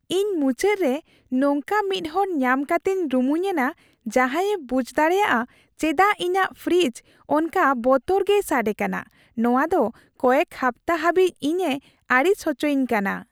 ᱤᱧ ᱢᱩᱪᱟᱹᱫᱨᱮ ᱱᱚᱝᱠᱟ ᱢᱤᱫᱦᱚᱲ ᱧᱟᱢ ᱠᱟᱛᱮᱧ ᱨᱩᱢᱩᱧ ᱮᱱᱟ ᱡᱟᱦᱟᱸᱭ ᱮ ᱵᱩᱡᱷ ᱫᱟᱲᱮᱭᱟᱜᱼᱟ ᱪᱮᱫᱟᱜ ᱤᱧᱟᱹᱜ ᱯᱷᱨᱤᱡᱽ ᱚᱱᱠᱟ ᱵᱚᱛᱚᱨ ᱜᱮᱭ ᱥᱟᱹᱰᱮ ᱠᱟᱱᱟ ᱼ ᱱᱚᱶᱟ ᱫᱚ ᱠᱚᱭᱮᱠ ᱦᱟᱯᱛᱟ ᱦᱟᱹᱵᱤᱡ ᱤᱧᱮ ᱟᱹᱲᱤᱥ ᱦᱚᱪᱚᱭᱤᱧ ᱠᱟᱱᱟ ᱾